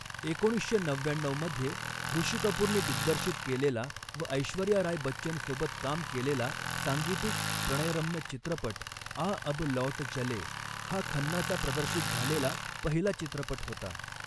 एकोणीसशे नव्याण्णऊमध्ये ऋषी कपूरने दिग्दर्शित केलेला व ऐश्वर्या राय बच्चनसोबत काम केलेला सांगीतिक प्रणयरम्य चित्रपट आ अब लौट चलें हा खन्नाचा प्रदर्शित झालेला पहिला चित्रपट होता.